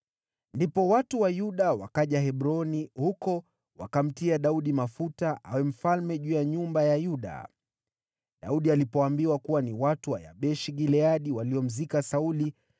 Ndipo watu wa Yuda wakaja Hebroni, huko wakamtia Daudi mafuta awe mfalme juu ya nyumba ya Yuda. Daudi alipoambiwa kuwa ni watu wa Yabeshi-Gileadi waliomzika Sauli,